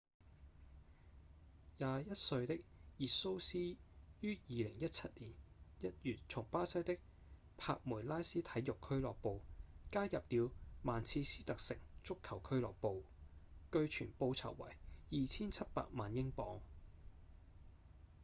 21歲的熱蘇斯於2017年1月從巴西的帕梅拉斯體育俱樂部加入了曼徹斯特城足球俱樂部據傳報酬為2700萬英鎊